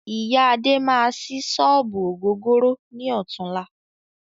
Iya Adé máa sí sọ́ọ́bù ògógóró ni ọ̀tunla